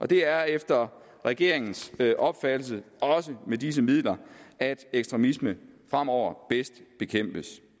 det er efter regeringens opfattelse også med disse midler at ekstremisme fremover bedst bekæmpes